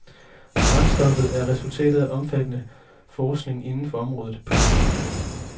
Brændstoffet er resultatet af omfattende forskning inden for området. punktum